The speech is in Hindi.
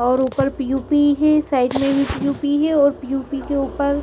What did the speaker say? और ऊपर पी_ओ_पी ही साईड में भी पी_ओ_पी और पी_ओ_पी के ऊपर